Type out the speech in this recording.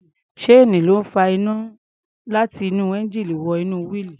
Ṣéènì ló ń fa iná láti inú ẹńjíìnì wọ inú wíìlì.